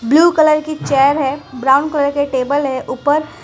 blue colour की chair है brown colour के टेबल है ऊपर--